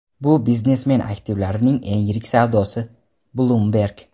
bu biznesmen aktivlarining eng yirik savdosi – "Bloomberg".